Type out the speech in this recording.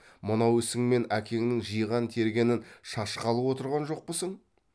мынау ісіңмен әкеңнің жиған тергенін шашқалы отырған жоқпысың